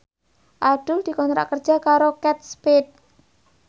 Abdul dikontrak kerja karo Kate Spade